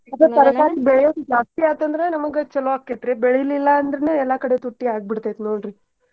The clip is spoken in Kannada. ಜಾಸ್ತಿ ಆಯ್ತಂದ್ರ ನಮಗ್ ಚಲೊ ಅಕ್ಕೆತ್ರಿ. ಬೆಳಿಲಿಲ್ಲಾ ಅಂದ್ರೂನು ಎಲ್ಲಾ ಕಡೆ ತುಟ್ಟಿ ಆಗಿಬಿಡ್ತೈತಿ ನೋಡ್ರಿ.